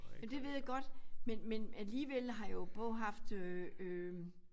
Men det ved jeg godt men men alligevel har jeg jo både haft øh øh